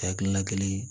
Ha hakilina kelen